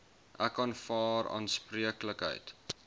ek aanvaar aanspreeklikheid